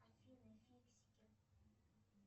афина фиксики